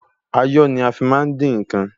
Ayọ́ ni a fi má ń dín ǹkan.